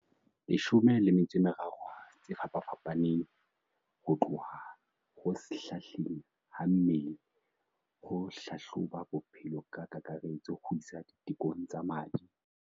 13 tse fapafapa neng ho tloha ho shahleng ha mmele ho hlahloba bophelo ka kakaretso ho isa ditekong tsa madi.